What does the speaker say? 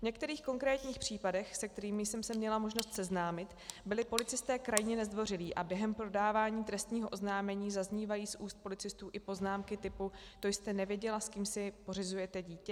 V některých konkrétních případech, se kterými jsem se měla možnost seznámit, byli policisté krajně nezdvořilí a během podávání trestního oznámení zaznívaly z úst policistů i poznámky typu: To jste nevěděla, s kým si pořizujete dítě?